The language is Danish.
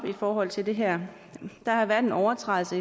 i forhold til det her der har været en overtrædelse